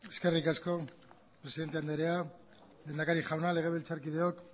eskerrik asko presidente andrea lehendakari jauna legebiltzarkideok